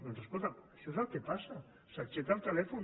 doncs escolta’m això és el que passa s’aixeca el telèfon